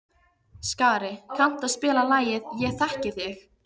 Skari, kanntu að spila lagið „Ég þekki þig“?